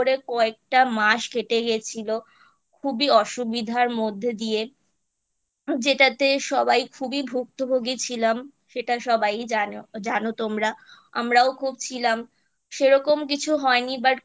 কয়েকটা মাস কেটে গেছিলো খুবই অসুবিধার মধ্যে দিয়ে যেটাতে সবাই খুবই ভুক্তভুগি ছিলাম সেটা সবাই ই জানো জানো তোমরা আমরাও খুব ছিলাম সেরকম কিছু হয়নি But খুবই